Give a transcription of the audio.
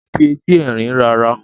o n fí Ẹti Ẹrin rà ara.